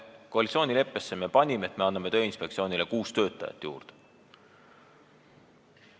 Me panime koalitsioonileppesse, et me anname Tööinspektsioonile kuus töötajat juurde.